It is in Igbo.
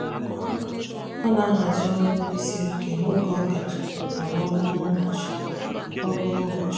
ọ na-ahazi ọrụ ndị siri ike n'oge ọ kacha arụ ọrụ n'ụbọchị. ọrụ n'ụbọchị.